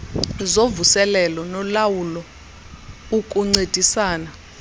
zovuselelo nolawulo ukuncedisana